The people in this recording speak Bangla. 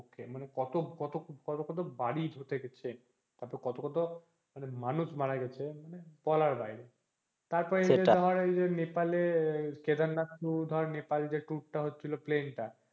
মানে কত কত কত বাড়ি ধসে গেছে তারপর কত কত মানুষ মারা গেছে মানে বলার বাইরে তারপর ধর নেপাল এর কেদারনাথ ধর নেপাল যে tour টা হচ্ছিলো plain টা